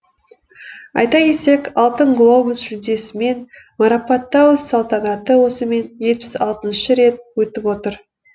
айта кетсек алтын глобус жүлдесімен марапаттау салтанаты осымен жетпіс алтыншы рет өтіп отыр